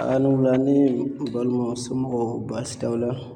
A' ni wula ne balimaw somɔgɔw baasi t'aw la?